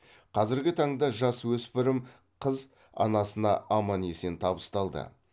қазіргі таңда жасөспірім қыз анасына аман есен табысталды